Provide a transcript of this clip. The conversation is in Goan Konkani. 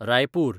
रायपूर